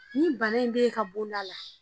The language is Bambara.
Nin bana in b'e ka bonda la